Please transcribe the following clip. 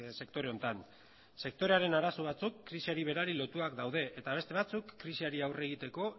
sektore honetan sektorearen arazo batzuk krisiari berari lotuak daude eta beste batzuk krisiari aurre egiteko